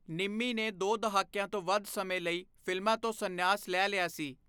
ਨਿੰਮੀ ਨੇ ਦੋ ਦਹਾਕਿਆਂ ਤੋਂ ਵੱਧ ਸਮੇਂ ਲਈ ਫਿਲਮਾਂ ਤੋਂ ਸੰਨਿਆਸ ਲੈ ਲਿਆ ਸੀ।